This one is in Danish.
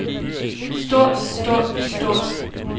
stort stort stort